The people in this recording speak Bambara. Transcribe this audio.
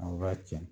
Aw b'a tiɲɛ